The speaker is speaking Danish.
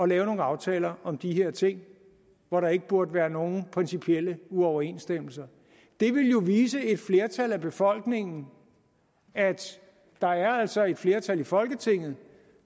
lave nogle aftaler om de her ting hvor der ikke burde være nogen principielle uoverensstemmelser det ville jo vise et flertal af befolkningen at der altså er et flertal i folketinget